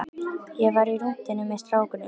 Ég var á rúntinum með strákunum.